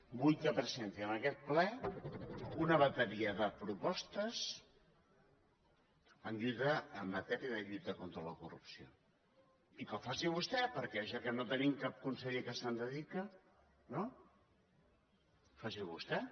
vull que presenti en aquest ple una bateria de propostes en matèria de lluita contra la corrupció i que ho faci vostè perquè ja que no tenim cap conseller que s’hi dediqui no faci ho vostè